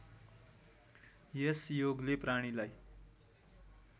यस योगले प्राणीलाई